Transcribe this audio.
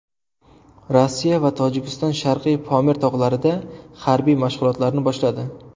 Rossiya va Tojikiston Sharqiy Pomir tog‘larida harbiy mashg‘ulotlarni boshladi.